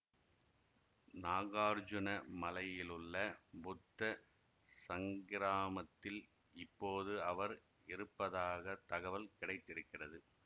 நாகார்ஜுன மலையிலுள்ள புத்த ஸங்கிராமத்தில் இப்போது அவர் இருப்பதாக தகவல் கிடைத்திருக்கிறது